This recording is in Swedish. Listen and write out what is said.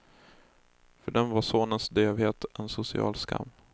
För dem var sonens dövhet en social skam.